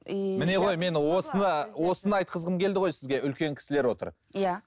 иии міне ғой мен осыны осыны айтқызғым келді ғой сізге үлкен кісілер отыр иә